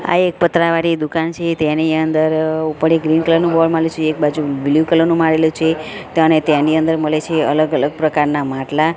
આ એક પતરા વાડી દુકાન છે તેની અંદર ઉપર એક ગ્રીન કલર નુ બોર્ડ મારેલુ છે એક બાજુ બ્લુ કલર નુ મરેલુ છે તને તેની અંદર મલે છે અલગ અલગ પ્રકારના માટલા.